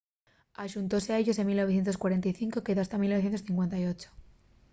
axuntóse a ellos en 1945 y quedó hasta 1958